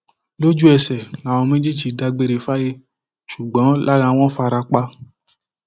lójúẹsẹ làwọn méjì dágbére fáyé ṣùgbọn lára wọn fara pa